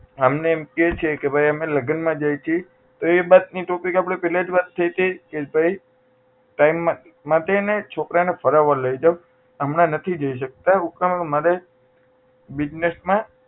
અમને એમ કહે છે કે અમે લગ્ન માં જાઈએ છે તો એ વાતની topic આપણી પહેલા જ વાત થઇ હતી time માંથી માટે એને છોકરા ને ફરાવવા લઇ જવું હમણાં નહીં જઈ શકતા દુકાન માં માટે business માં